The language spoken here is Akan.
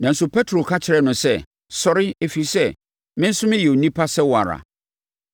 Nanso, Petro ka kyerɛɛ no sɛ, “Sɔre, ɛfiri sɛ, me nso meyɛ onipa sɛ wo ara.”